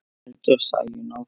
heldur Sæunn áfram.